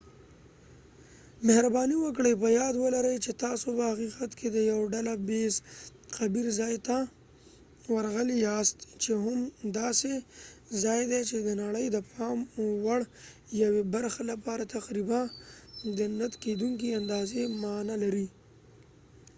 مهرباني وکړئ په یاد ولرئ چې تاسو په حقیقت کې د یو ډله ییز قبر ځای ته ورغلي یاست چې هم داسې ځای دی چې د نړۍ د پام وړ یوې برخه لپاره تقریبا د نه کېدونکې اندازې معنا لري